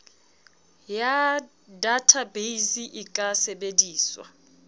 ya databeise e ka sebediswa